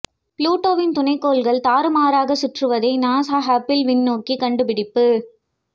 புளுடோவின் துணைக் கோள்கள் தாறுமாறாய்ச் சுற்றுவதை நாசா ஹப்பிள் விண்ணோக்கி கண்டுபிடிப்பு